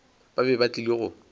ba be ba tlile go